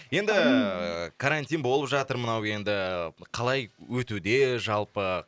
енді карантин болып жатыр мынау енді қалай өтуде жалпы